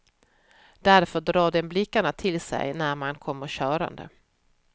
Därför drar den blickarna till sig när man kommer körande.